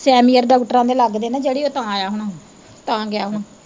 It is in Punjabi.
ਸੈਮੀਅਰ ਡਾਕਟਰਾਂ ਦੇ ਲੱਗਦੇ ਨਾ ਜਿਹੜੇ ਉਹ ਤਾਂ ਆਇਆ ਹੁਣਾ ਤਾਂ ਗਿਆ ਹੁਣਾ।